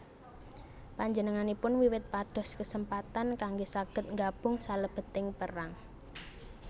Panjenenganipun wiwit pados kesempatan kanggé saged nggabung salebeting perang